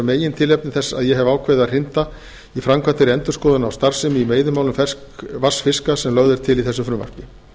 megintilefni þess að ég hef ákveðið var að hrinda í framkvæmd þeirri endurskoðun á starfsemi í veiðimálum ferskvatnsfiska sem lögð er til í þessu frumvarpi